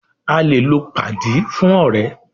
A lè lò padi fún ọ̀rẹ́.